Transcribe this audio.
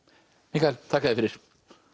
Mikael þakka þér fyrir